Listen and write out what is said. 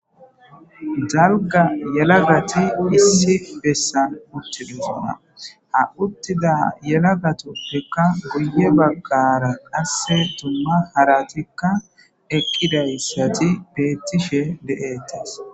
darga yelagati issi bessan uttilisona ha uttida yelagatuppheka guye baggara qasse tumma haratikka eqqidayssati bettishe de7ettes